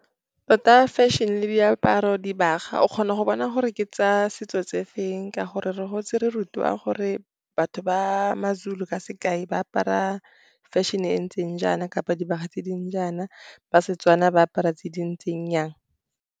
Tota fashion le diaparo, dibaga, o kgona go bona gore ke tsa setso tse feng ka gore re gotse re rutiwa gore batho ba maZulu, ka sekai, ba apara fashion-e ntseng jaana, kapa dibaga tse di ntseng jaana, ba Setswana ba apara tse di ntseng jang.